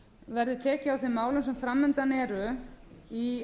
verði tekið á þeim málum sem fram undan eru í